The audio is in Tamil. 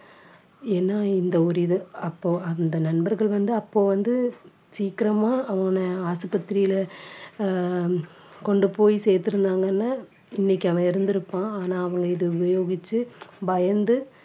ஏன்னா இந்த ஒரு இது அப்போ அந்த நண்பர்கள் வந்து அப்போ வந்து சீக்கிரமா அவன ஆஸ்பத்திரியிலே அஹ் கொண்டு போய் சேர்த்திருந்தாங்கன்னா இன்னைக்கு அவன் இருந்திருப்பான் ஆனா அவன் இதை உபயோகிச்சு பயந்து